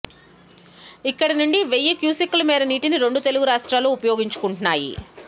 ఇక్కడి నుంచి వెయ్యి క్యూసెక్కుల మేర నీటిని రెండు తెలుగు రాష్ట్రాలు వినియోగించుకుంటున్నాయి